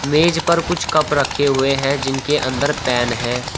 मेज पर कुछ कप रखे हुए हैं जिनके अंदर पेन है।